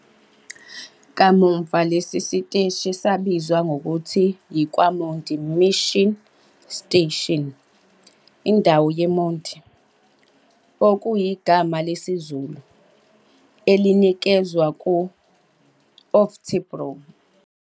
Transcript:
Kamuva lesi siteshi sabizwa ngokuthi yi-KwaMondi Mission Station, "indawo yeMondi" okuyigama lesiZulu, elanikezwa ku-Oftebro.